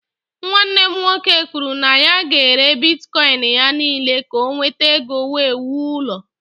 Nwanne m nwoke kwuru na ya ga-ere bitkọịn ya niile ka o nweta ego wee wuo ụlọ.